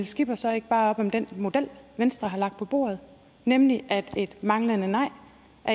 skipper så ikke bare op om den model venstre har lagt på bordet nemlig at et manglende nej